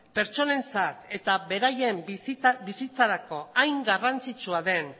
pertsonentzat eta beraien bizitzarako hain garrantzitsua den